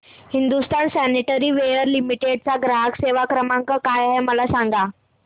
Hindustan sanitaryware limited चा ग्राहक सेवा क्रमांक काय आहे मला सांगा